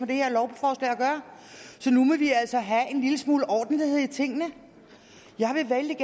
det her lovforslag at gøre så nu må vi altså have en lille smule ordentlighed i tingene jeg vil vældig